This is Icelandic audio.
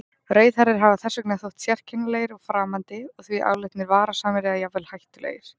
Rauðhærðir hafa þess vegna þótt sérkennilegir og framandi og því álitnir varasamir eða jafnvel hættulegir.